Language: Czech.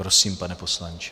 Prosím, pane poslanče.